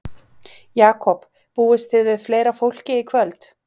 Jakob, búist þið við fleira fólki í kvöld?